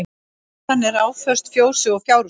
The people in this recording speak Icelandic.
Hlaðan er áföst fjósi og fjárhúsi